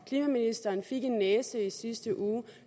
klimaministeren fik en næse i sidste uge